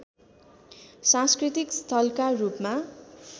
सांस्कृतिक स्थलका रूपमा